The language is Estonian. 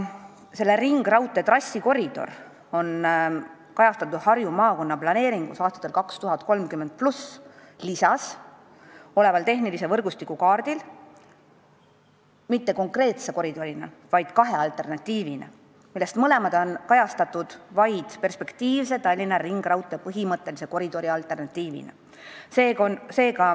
Selle ringraudtee trassikoridor on tähistatud Harju maakonna planeeringus aastateks 2030+ lisas oleval tehnilise võrgustiku kaardil mitte konkreetse koridorina, vaid kahe alternatiivina, millest mõlemad on esitatud vaid perspektiivse Tallinna ringraudtee põhimõttelise koridori alternatiividena.